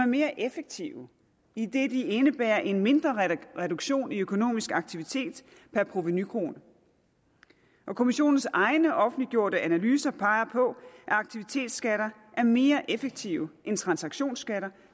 mere effektive idet de indebærer en mindre reduktion i økonomisk aktivitet per provenukrone kommissionens egne offentliggjorte analyser peger på at aktivitetsskatter er mere effektive end transaktionsskatter